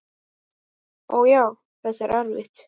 Ó, já, þetta er erfitt.